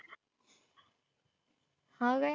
नाव काय?